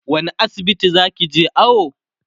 wani asibiti zakije awo?